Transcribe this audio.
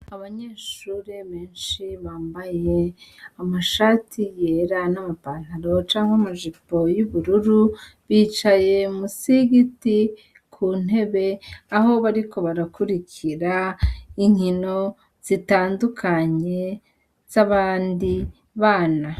Abanyeshure benshi bambaye amashati yera n'ama pantaro canke ama jipo y'ubururu, bicaye musi y'igiti ku ntebe, aho bariko barakurikira inkino zitandukanye z'abandi bana.